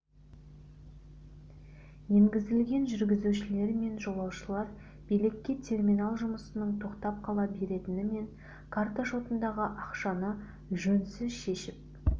енгізілген жүргізушілер мен жолаушылар билікке терминал жұмысының тоқтап қала беретіні мен карта шотындағы ақшаны жөнсіз шешіп